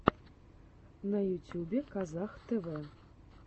на ютюбе казах тэвэ